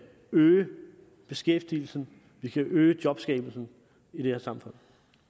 øge beskæftigelsen at vi kan øge jobskabelsen i det her samfund